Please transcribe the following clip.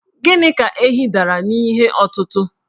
Gịnị ka ehi dara n'ihe ọtụtụ̀?